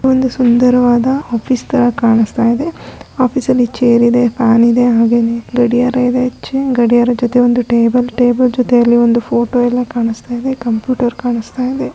ಒಂದು ಸುಂದರವಾದ ಆಫೀಸ್ ತರ ಕಾಣಿಸ್ತಾ ಇದೆ. ಆಫೀಸ್ನಲ್ಲಿ ಚೇರ್ ಇದೆ ಫ್ಯಾನ್ ಇದೆ ಗಡಿಯಾರ ಇದೆ ಹಾಗೆ ಗಡಿಯಾರ ಜೊತೆ ಒಂದ್ ಟೇಬಲ್ ಟೇಬಲ್ ಜೊತೆ ಒಂದ್ ಫೋಟೋ ಕಾಣಿಸ್ತಾಯಿದೆ. ಕಂಪ್ಯೂಟರ್ ಕಾಣಿಸ್ತಾಯಿದೆ.